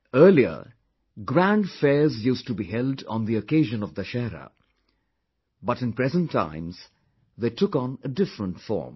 Earlier, grand fairs used to be held on the occasion of Dussehra...but in present times, they took on a different form